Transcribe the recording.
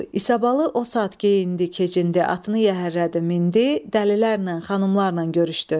İsabalı o saat geyindi, keçindi, atını yəhərlədi, mindi, dəlilərlə, xanımlarla görüşdü.